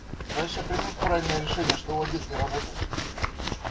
значит я принял правильное решение что в обед не работал